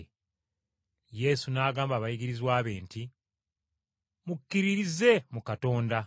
Yesu n’agamba abayigirizwa be nti, “Mukkiririze mu Katonda.